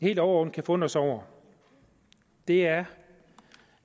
helt overordnet kan forundres over er